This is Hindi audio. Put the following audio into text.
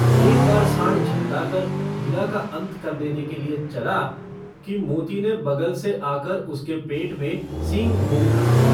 एक बार साँड़ झल्लाकर हीरा का अन्त कर देने के लिए चला कि मोती ने बगल से आकर उसके पेट में सींग भोंक दी।